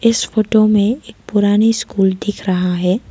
इस फोटो में एक पुरानी स्कूल दिख रहा है।